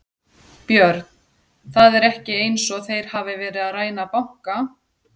Björn: Það er ekki eins og þeir hafi verið að ræna banka?